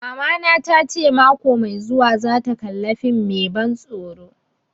Mamana ta ce mako mai zuwa za ta kalla fim mai ban tsoro